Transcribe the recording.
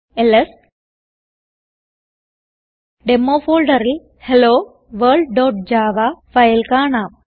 LS demo ഫോൾഡറിൽ helloworldജാവ file കാണാം